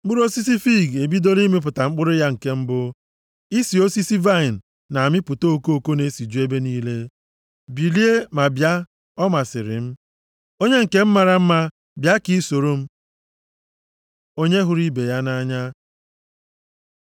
Mkpụrụ osisi fiig ebidola ịmịpụta mkpụrụ ya nke mbụ, + 2:13 Osisi fiig na-amị mkpụrụ ugboro abụọ nʼafọ nʼIzrel. Ọ bụ nʼoge ọkọchị ka ọ kachasị amị mkpụrụ, amaokwu a na-ekwu banyere owuwe ihe ubi nke mkpụrụ fiig mbụ. isi osisi vaịnị na-amịpụta okoko na-esiju ebe niile. Bilie, ma bịa, ọmasịrị m. Onye nke m mara mma! Bịa ka i sooro m.” Onye hụrụ ibe ya nʼanya